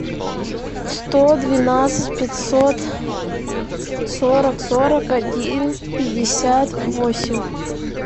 сто двенадцать пятьсот сорок сорок один пятьдесят восемь